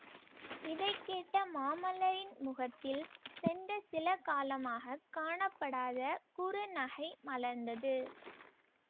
இதை கேட்ட மாமல்லரின் முகத்தில் சென்ற சில காலமாக காணப்படாத குறுநகை மலர்ந்தது